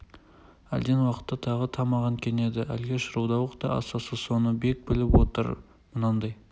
әлден уақытта тағы тамағын кенеді әлгі шырылдауық та асасы соны бек біліп істеп отыр мынандай